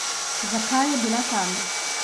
Zakaj je bila tam?